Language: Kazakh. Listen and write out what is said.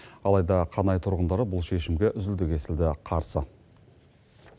алайда қанай тұрғындары бұл шешімге үзілді кесілді қарсы